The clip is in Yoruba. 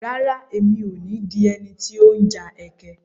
Rárá, mi ò ní di ẹni tí ó ń ja ẹkẹ.